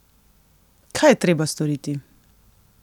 Kaj je treba storiti?